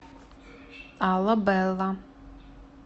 аллабэлла